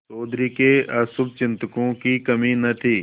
चौधरी के अशुभचिंतकों की कमी न थी